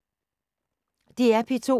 DR P2